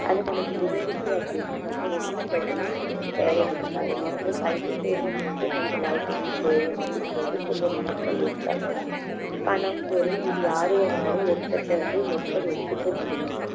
அது நமக்கு இருந்துச்சு அப்படின்னா நம்ம எந்த செல்வமும் நமக்கு தேவை இருக்காது நமக்கு கல்வி செல்வம் ஒன்றே நமது வாழ்க்கைக்கு போதும் அப்படின்னு சொல்லிட்டு திருவள்ளுவர் சொல்லியிருக்கிறாரு பணம் பொருள் இது யார் வேணும்னாலும் ஒருத்தர் கிட்ட இருந்து ஒருத்தர் எடுத்துக்க முடியும்